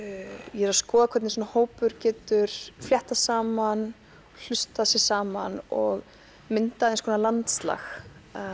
ég er að skoða hvernig svona hópur getur fléttað saman hlustað sig saman og myndað eins konar landslag